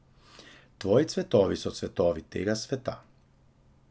Tvoji cvetovi so cvetovi tega sveta.